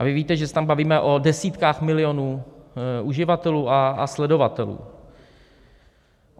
A vy víte, že se tam bavíme o desítkách milionů uživatelů a sledovatelů.